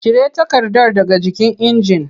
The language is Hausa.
Cire takardar daga jikin injin!